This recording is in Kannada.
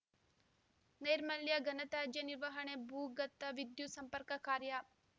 ನೈರ್ಮಲ್ಯ ಘನತ್ಯಾಜ್ಯ ನಿರ್ವಹಣೆ ಭೂಗತ ವಿದ್ಯುತ್ ಸಂಪರ್ಕ ಕಾರ್ಯ